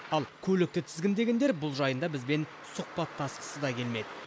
ал көлікті тізгіндегендер бұл жайында бізбен сұхбаттасқысы да келмеді